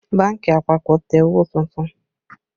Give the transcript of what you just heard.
Bánkì àpapọ̀ tẹ owó tuntun